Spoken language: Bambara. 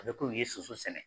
A bɛ komi ye sunsun sɛnɛ